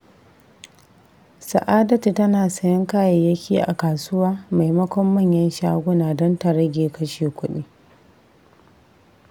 Sa’adatu tana sayen kayayyaki a kasuwa maimakon manyan shaguna don ta rage kashe kudi.